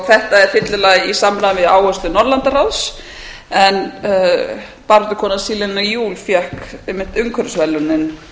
þetta er fyllilega í samræmi við áherslu norðurlandaráðs en baráttukonan selina juul fékk einmitt umhverfisverðlaunin